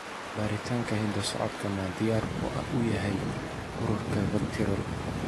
Baaritaanka hidda-socodka ma diyaar u yahay ururka VACTERL?